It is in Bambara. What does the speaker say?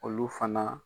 Olu fana